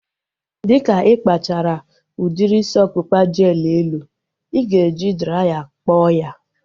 Dịka ịkpachara udiri isi ọkpụkpa jel elu, ị ga-eji draya kpọọ ya